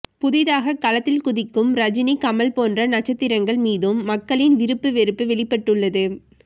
புதிதாக களத்தில் குதிக்கும் ரஜினி கமல் போன்ற நட்சத்திரங்கள் மீதும் மக்களின் விருப்பு வெறுப்பு வெளிப்பட்டுள்ளது